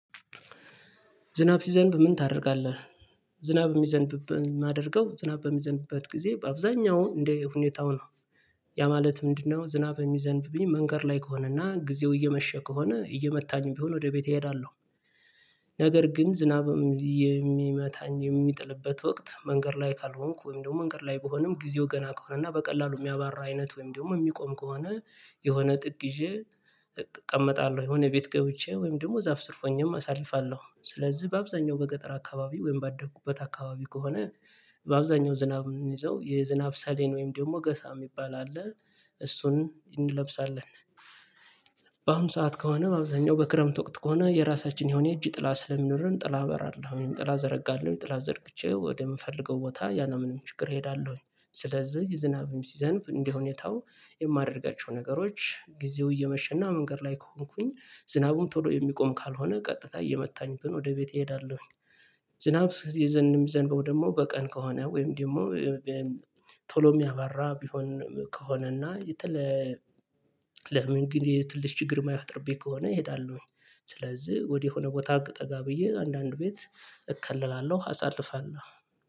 ዝናብ ሲዘንብ ምን ታደርጋለ? ዝናብ የሚዘንብብን የማደርገው ዝናብ በሚዘንበት ጊዜ በአብዛኛው እንደ ሁኔታው ነው ያ ማለት ምንድነው ዝናብ የሚዘንብብኝ መንገድ ላይ ከሆነና ጊዜው እየመሸ ከሆነ እየመታኝ ቢሆን ወደ ቤቴ እሄዳለሁ ነገር ግን ዝናብም የሚመታኝ የሚጥልበት ወቅት መንገድ ላይ ካልሆንኩ ወይም ደግሞ መንገድ ላይ በሆነም ጊዜው ገና ከሆነ እና በቀላሉ የሚያባራ አይነት ወይም ደግሞ የሚቆም ከሆነ የሆነ ጥግ ይዤ እቀመጣለሁ የሆነ ቤት ገብቼ ወይም ደግሞ ዛፍ ስር ሆኜም አሳልፋለሁ። ስለዚህ በአብዛኛው በገጠር አካባቢ ወይም ባደኩበት አካባቢ ከሆነ በአብዛኛው ዝናብ የምንይዘው የዝናብ ሳሌን ወይም ደግሞ ገሳ የሚባል አለ እሱን እንለብሳለን በአሁን ሰዓት ከሆነ በአብዛኛው በክረምት ወቅት ከሆነ የራሳችን የሆነ እጅ ጥላ ስለምንኖር ጥላ በራለሁኝ ጥላ ዘረጋለሁ ጥላ ዘርግቼ ወደምፈልገው ቦታ ያለምንም ችግር እሄዳለሁኝ፤ ስለዚህ ዝናብም ሲዘንብ እንደሁኔታው የማደርጋቸው ነገሮች ጊዜው እየመሸና መንገድ ላይ ከሆንኩኝ ዝናቡም ቶሎ የሚቆም ካልሆነ ቀጥታ እየመታኝብን ወደ ቤት እሄዳለሁ ዝናብ የዘንም ዘንበው ደግሞ በቀን ከሆነ ወይም ደግሞ ቶሎ የሚያባራ ቢሆን ከሆነና የተለ ለምን ግን የትልሽ ችግር የማያወጣርብኝ ከሆነ ይሄዳሉ ስለዚህ ወዲህ የሆነ ቦታ ጠጋ ብዬ አንዳንድ ቤት እከልፈለላለሁ አሳልፋለሁ።